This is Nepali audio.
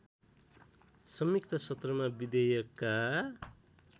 संयुक्त सत्रमा विधेयकका